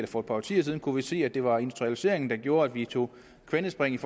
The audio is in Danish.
for et par årtier siden kunne vi se at det var industrialiseringen der gjorde at vi tog kvantespringet